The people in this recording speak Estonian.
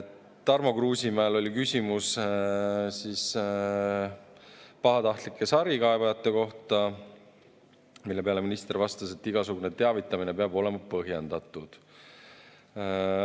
Tarmo Kruusimäel oli küsimus pahatahtlike sarikaebajate kohta, mille peale minister vastas, et igasugune teavitamine peab olema põhjendatud.